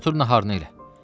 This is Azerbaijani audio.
Get otur naharını elə.